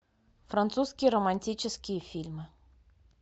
французские романтические фильмы